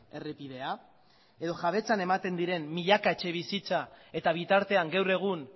errepidea edo jabetzan ematen diren milaka etxebizitza eta bitartean gaur egun